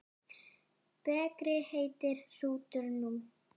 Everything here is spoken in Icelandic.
Bekri heitir hrútur nú.